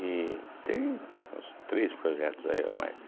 e tem uns três projetos aí ou mais.